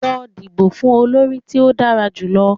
Lọ dibo fun olori ti o dara julọ!